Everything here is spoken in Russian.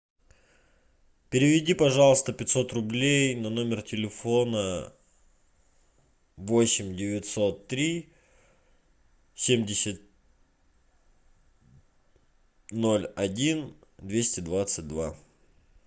переведи пожалуйста пятьсот рублей на номер телефона восемь девятьсот три семьдесят ноль один двести двадцать два